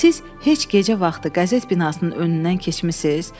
Siz heç gecə vaxtı qəzet binasının önündən keçmisiniz?